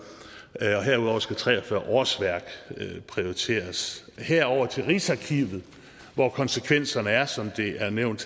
herudover skal tre og fyrre årsværk prioriteres her over til rigsarkivet konsekvenserne er som det er nævnt